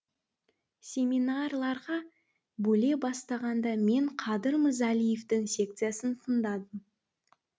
семинарларға бөле бастағанда мен қадыр мырзалиевтің секциясын таңдадым